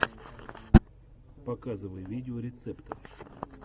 показывай видеорецепты